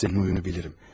Sənin oyunu bilirəm.